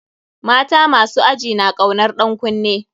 Mata masu aji na kaunar ɗan kunne.